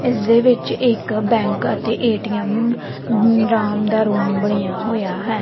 ਇੱਸ ਦੇ ਵਿੱਚ ਇੱਕ ਬੈਂਕ ਅਤੇ ਏ_ਟੀ_ਐਮ ਦਾ ਰੂਮ ਬਣਿਆ ਹੋਇਆ ਹੈ।